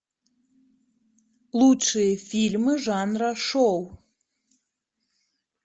лучшие фильмы жанра шоу